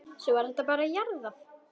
Svo var þetta bara jarðað.